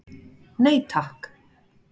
Nei takk.